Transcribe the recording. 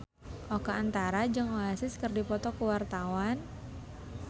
Oka Antara jeung Oasis keur dipoto ku wartawan